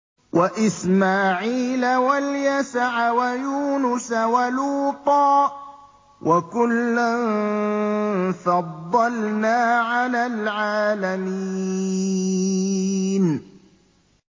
وَإِسْمَاعِيلَ وَالْيَسَعَ وَيُونُسَ وَلُوطًا ۚ وَكُلًّا فَضَّلْنَا عَلَى الْعَالَمِينَ